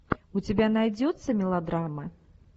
у тебя найдется мелодрама